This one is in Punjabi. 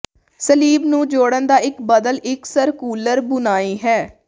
ਸਲੀਬ ਨੂੰ ਜੋੜਨ ਦਾ ਇੱਕ ਬਦਲ ਇੱਕ ਸਰਕੂਲਰ ਬੁਣਾਈ ਹੈ